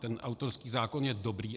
Ten autorský zákon je dobrý.